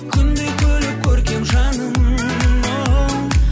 күндей күліп көркем жаным оу